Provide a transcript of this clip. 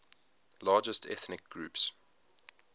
largest ethnic groups